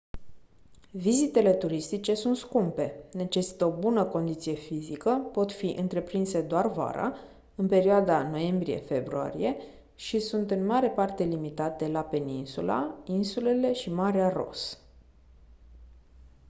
vizitele turistice sunt scumpe necesită o bună condiție fizică pot fi întreprinse doar vara în perioada noiembrie februarie și sunt în mare parte limitate la peninsula insulele și marea ross